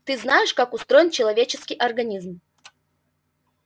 ты знаешь как устроен человеческий организм